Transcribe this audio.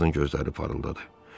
O Vodun gözləri parıldadı.